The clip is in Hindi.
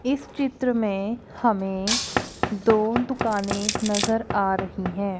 इस चित्र में हमें दो दुकाने नजर आ रही है।